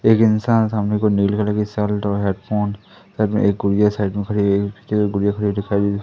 एक इंसान सामने की ओर नीले कलर की शल्ट और हेडफोन साइड में एक गुड़िया साइड में खड़ी हुई पीछे गुड़िया खड़ी हुई दिखाई दे--